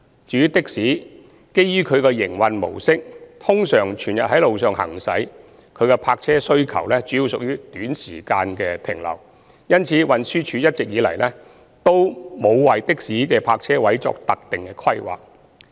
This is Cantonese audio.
至於的士，基於其營運模式，通常全日在路上行駛，其泊車需求主要屬短時間停留，因此，運輸署一直以來均沒有為的士的泊車位作特定規劃。